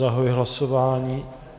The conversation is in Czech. Zahajuji hlasování.